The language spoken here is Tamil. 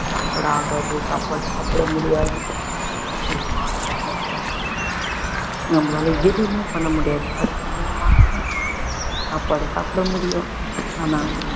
சாப்பாடு ஆகாது சாப்பாடு சாப்பிட முடியாது ஒரு மாதிரியான நம்மலாள எதுவுமே பண்ண முடியாது அடுத்த மூணு மாசமும் சாப்பாடு சாப்பிட முடியும் ஆனா